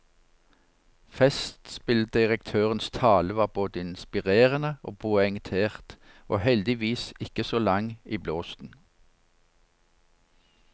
Festspilldirektørens tale var både inspirerende og poengtert, og heldigvis ikke så lang i blåsten.